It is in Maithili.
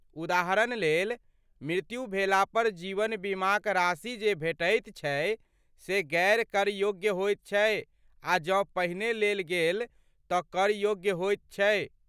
उदाहरण लेल, मृत्यु भेला पर जीवन बीमाक राशि जे भेटैत छै से गैर कर योग्य होइत छै आ जँ पहिने लेल गेल तँ कर योग्य होइत छै।